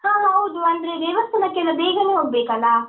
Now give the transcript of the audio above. ಹಾ ಹೌದು ಅಂದ್ರೆ ದೇವಸ್ಥಾನಕ್ಕೆಲ್ಲ ಬೇಗನೆ ಹೋಗ್ಬೇಕಲ್ಲ.